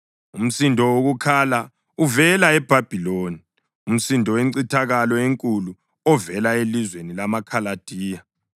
“Umsindo wokukhala uvela eBhabhiloni, umsindo wencithakalo enkulu ovela elizweni lamaKhaladiya.